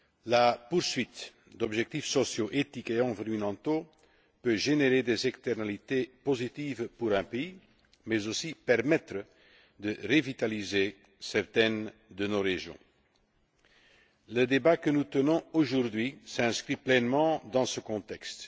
La poursuite d'objectifs sociaux, éthiques et environnementaux peut générer des effets externes positifs pour un pays, mais aussi permettre de revitaliser certaines de nos régions. Le débat que nous tenons aujourd'hui s'inscrit pleinement dans ce contexte.